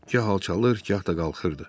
Gah alçalır, gah da qalxırdı.